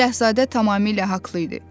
Şahzadə tamamilə haqlı idi.